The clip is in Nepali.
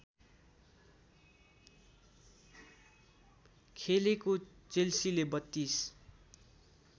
खेलेको चेल्सीले ३२